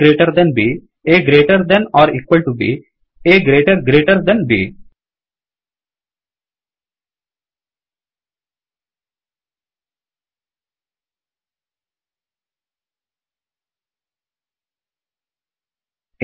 A greater than b A greater than or equal to b A greater greater than B